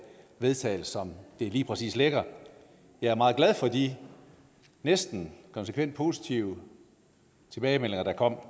vedtages som det lige præcis ligger jeg er meget glad for de næsten konsekvent positive tilbagemeldinger der kom